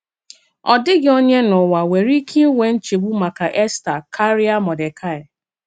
Ọ dịghị onye n’ụwà nwere ike ịnwe nchegbu maka Èstà kárịa Mọ́dekaị.